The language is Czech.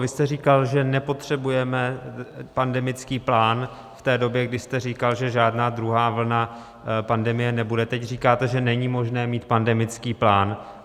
Vy jste říkal, že nepotřebujeme pandemický plán v té době, když jste říkal, že žádná druhá vlna pandemie nebude, teď říkáte, že není možné mít pandemický plán.